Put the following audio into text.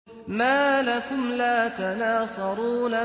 مَا لَكُمْ لَا تَنَاصَرُونَ